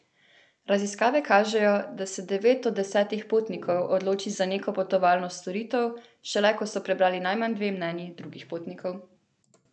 Raziskave kažejo, da se devet od desetih potnikov odloči za neko potovalno storitev šele, ko so prebrali najmanj dve mnenji drugih potnikov.